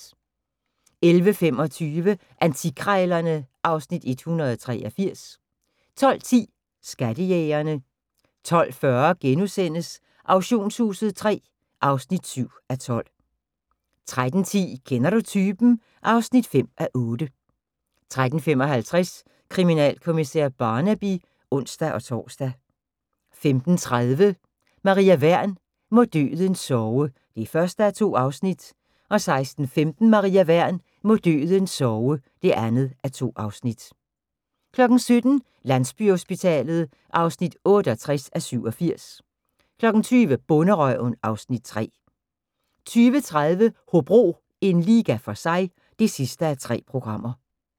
11:25: Antikkrejlerne (Afs. 183) 12:10: Skattejægerne 12:40: Auktionshuset III (7:12)* 13:10: Kender du typen? (5:8) 13:55: Kriminalkommissær Barnaby (ons-tor) 15:30: Maria Wern: Må døden sove (1:2) 16:15: Maria Wern: Må døden sove (2:2) 17:00: Landsbyhospitalet (68:87) 20:00: Bonderøven (Afs. 3) 20:30: Hobro - en liga for sig (3:3)